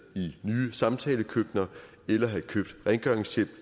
i nye samtalekøkkener eller have købt rengøringshjælp